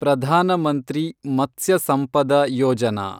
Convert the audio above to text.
Pradhan Mantri Matsya Sampada Yojana